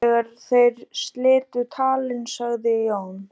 Þegar þeir slitu talinu sagði Jón